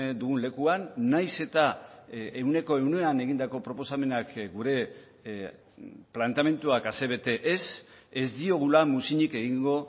dugun lekuan nahiz eta ehuneko ehunean egindako proposamenak gure planteamenduak asebete ez ez diogula muzinik egingo